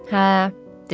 Hə, dedi.